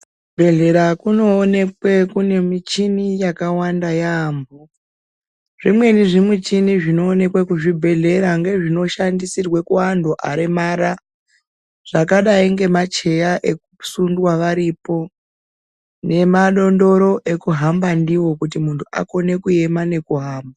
Kuzvibhedhlera kunoonekwa kune michini yakawanda yamho , zvimweni zvimuchini zvinoonekwe kuzvibhedhlera ngezvinoshandisirwe kuantu varemara zvakadai ngema cheya ekusundwa varipo nemadondoro ekuhamba ndiwo kuti muntu akone kuema nekuhamba.